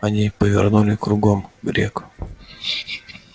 они повернули кругом грег